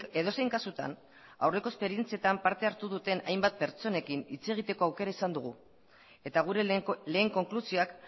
edozein kasutan aurreko esperientziatan parte hartu duten hainbat pertsonekin hitz egiteko aukera izan dugu eta gure lehen konklusioak